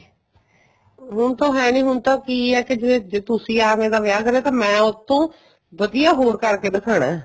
ਹੁਣ ਤਾਂ ਹੈ ਨੀਂ ਹੁਣ ਤਾਂ ਕੀ ਏ ਕੀ ਜਿਵੇਂ ਜੇ ਤੁਸੀ ਅੱਗਲੇ ਦਾ ਵਿਆਹ ਕਰਿਆ ਤਾਂ ਮੈਂ ਉਸ ਤੋਂ ਵਧੀਆ ਹੋਰ ਕਰਕੇ ਦਿਖਾਣਾ